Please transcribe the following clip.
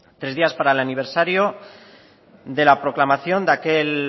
tres días para el aniversario de la proclamación de aquel